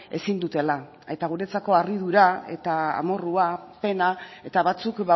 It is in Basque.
ezin dutela eta guretzako harridura eta amorrua pena eta batzuk